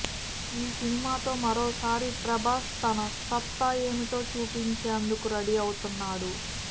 ఈ సినిమాతో మరోసారి ప్రభాస్ తన సత్తా ఏమిటో చూపించేందుకు రెడీ అవుతున్నాడు